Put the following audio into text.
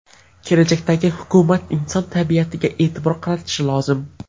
Kelajakdagi hukumat inson tabiatiga e’tibor qaratishi lozim.